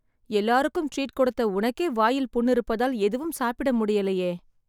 எல்லாருக்கும் ட்ரீட் கொடுத்த உனக்கே வாயில புண் இருப்பதால் எதுவும் சாப்பிட முடியலயே